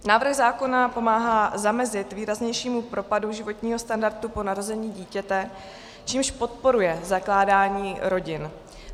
Návrh zákona pomáhá zamezit výraznějšímu propadu životního standardu po narození dítěte, čímž podporuje zakládání rodin.